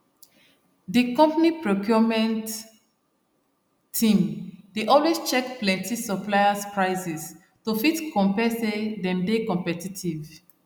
the company procurement team dey always check plenty suppliers prices to fit compare say them dey competitive